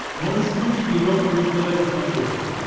можешь включить европа плюс тв на смотрешке